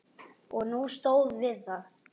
Og hún stóð við það.